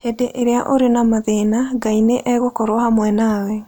Hĩndĩ ĩrĩa ũrĩ na mathĩna, Ngai nĩ egũkorũo hamwe nawe.